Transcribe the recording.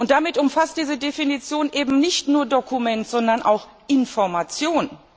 Damit umfasst diese Definition eben nicht nur Dokumente, sondern Informationen.